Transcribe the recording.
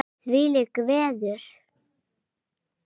Þvílíkt veður!